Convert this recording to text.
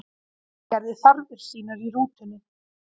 Gerði þarfir sínar í rútunni